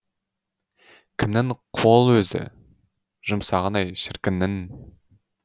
кімнің қол өзі жұмсағын ай шіркіннің